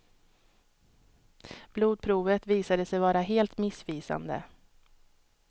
Blodprovet visade sig vara helt missvisande.